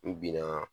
N binna